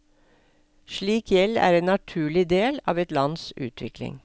Slik gjeld er en naturlig del av et lands utvikling.